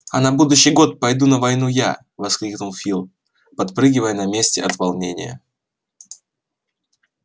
а на будущий год пойду на войну я воскликнул фил подпрыгивая на месте от волнения